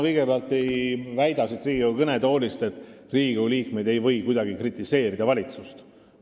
Kõigepealt, ma ei väida siit Riigikogu kõnetoolist, et Riigikogu liikmed ei või kuidagi kritiseerida valitsust.